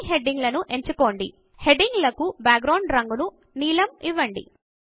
అన్ని హెడింగ్ లను ఎంచుకోండి హెడింగ్ లకు బ్యాక్ గ్రౌండ్ రంగు ను నీలం ఇవ్వండి